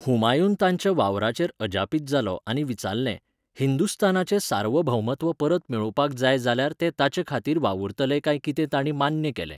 हुमायून तांच्या वावराचेर अजापीत जालो आनी विचारलें, हिंदुस्तानाचें सार्वभौमत्व परत मेळोवपाक जाय जाल्यार ते ताचे खातीर वावुरतले काय कितें तांणी मान्य केलें.